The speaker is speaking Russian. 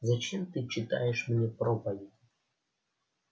зачем ты читаешь мне проповедь